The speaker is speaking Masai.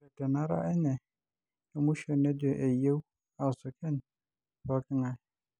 Ore tenara enye emusho nejo eyieu aasukeny pooking'ae.